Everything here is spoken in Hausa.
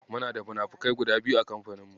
Muna da munafukai guda biyu a kamfanin mu.